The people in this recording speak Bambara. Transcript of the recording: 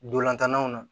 Dolantannanw na